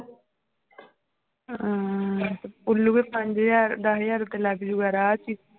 ਹਾਂ ਤੇ ਉੱਲੂਏ ਪੰਜ ਹਜ਼ਾਰ ਦਸ ਹਜ਼ਾਰ ਉੱਤੇ ਲੱਗ ਜਾਊਗਾ ਰਾਹ ਚ ਹੀ